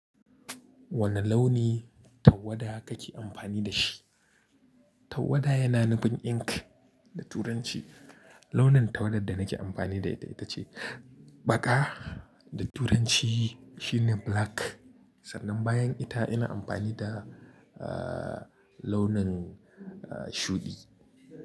Wane launi tawada kake amfani da shi? Tawada yana nufin ink da turanci. Launin tawarda da nake amfani da ita ce baƙa, da turanci shine black. Sannan bayan ita ina amfani da, ah, launin shuɗi.